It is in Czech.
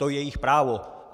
To je jejich právo.